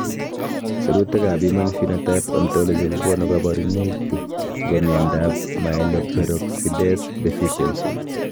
Sirutikab Human Phenotype Ontology kokonu koborunoikchu chebo miondab Myeloperoxidase deficiency.